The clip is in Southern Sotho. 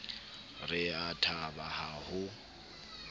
re a thaba ha ho